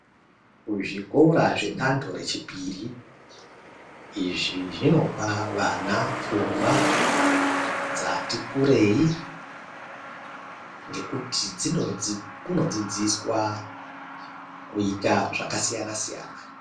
Zvikora zvedando rechipiri izvi zvinopa vana pfungwa dzati kurei ngekuti kunodzidziswa kuita zvakasiyana-siyana.